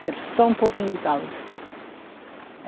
Quero só um pouquinho de caldo.